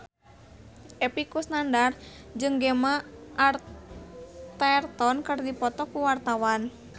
Epy Kusnandar jeung Gemma Arterton keur dipoto ku wartawan